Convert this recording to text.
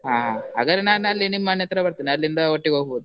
ಹಾ, ಹಾಗಾರೆ ನನ್ನಲ್ಲಿ ನಿಮ್ಮನೆ ಹತ್ರ ಬರ್ತೇನೆ, ಅಲ್ಲಿಂದ ಒಟ್ಟಿಗೆ ಹೋಗ್ಬೋದು.